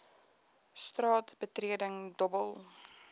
straat betreding dobbel